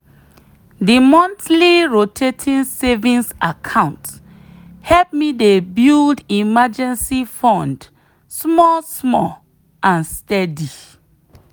the monthly rotating savings account help me dey build emergency fund small-small and steady.